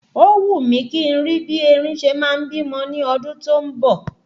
Ó wù mí kí n rí bí erin ṣe ma ń bímọ ní ọdún tó ń bọ̀